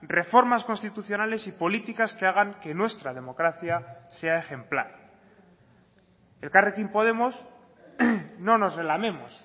reformas constitucionales y políticas que hagan que nuestra democracia sea ejemplar elkarrekin podemos no nos relamemos